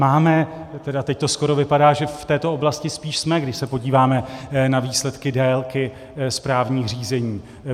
Máme, tedy teď to skoro vypadá, že v této oblasti spíš jsme, když se podíváme na výsledky délky správních řízení.